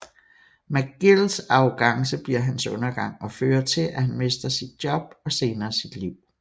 McGills arrogance bliver hans undergang og fører til at han mister sit job og senere sit liv